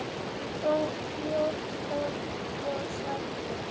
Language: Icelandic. Þá hló Þórkell og sagði